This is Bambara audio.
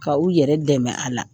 Ka u yɛrɛ dɛmɛ a la.